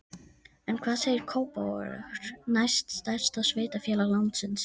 En hvað segir Kópavogur, næst stærsta sveitarfélag landsins?